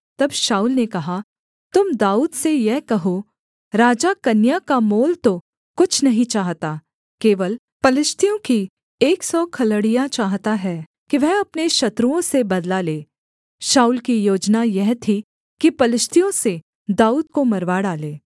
तब शाऊल ने कहा तुम दाऊद से यह कहो राजा कन्या का मोल तो कुछ नहीं चाहता केवल पलिश्तियों की एक सौ खलड़ियाँ चाहता है कि वह अपने शत्रुओं से बदला ले शाऊल की योजना यह थी कि पलिश्तियों से दाऊद को मरवा डाले